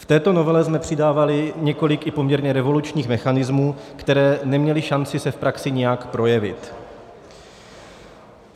V této novele jsme přidávali několik i poměrně revolučních mechanismů, které neměly šanci se v praxi nějak projevit.